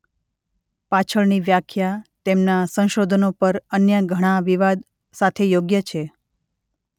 પાછળની વ્યાખ્યા તેમના સંશોધનો પર અન્ય ઘણા વિવાદ સાથે યોગ્ય છે